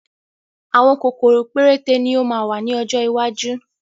Àwọn kòkòrò péréte ni ó máa wà ní ọjọ́ iwájú